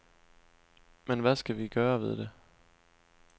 Men hvad skal vi gøre ved det?